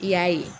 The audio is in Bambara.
I y'a ye